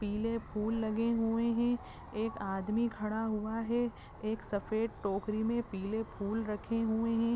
पीले फूल लगे हुए हैं। एक आदमी खड़ा हुआ है। एक सफ़ेद टोकरी में पीले फूल रखे हुए हैं।